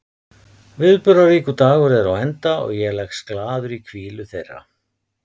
Viðburðaríkur dagur er á enda og ég leggst glaður í hvílu þeirra.